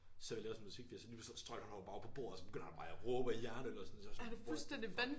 Så sidder vi og laver sådan musik så lige pludselig så strøg han bare op på bordet og begynder at råbe og jerne øl ned og sådan så sådan what the fuck